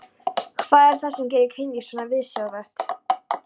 Hvað er það sem gerir kynlíf svona viðsjárvert?